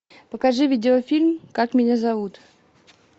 покажи видеофильм как меня зовут